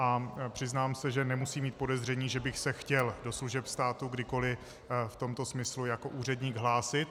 A přiznám se, že nemusí mít podezření, že bych se chtěl do služeb státu kdykoli v tomto smyslu jako úředník hlásit.